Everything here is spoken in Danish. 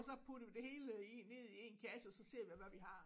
Og så putte det hele i én ned i én kasse og så ser vi hvad vi har